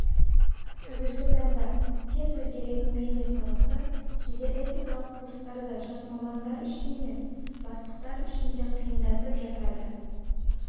қазіргі таңда тез өзгеретін медиа саласы кейде этикалық курстарды жас мамандар үшін емес бастықтар үшін де қиындатып жатады